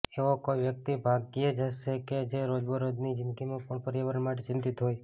એવો કોઈ વ્યક્તિ ભાગ્યે જ હશે કે જે રોજબરોજની જિંદગીમાં પણ પર્યાવરણ માટે ચિંતિત હોય